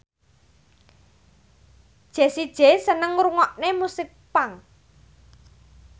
Jessie J seneng ngrungokne musik punk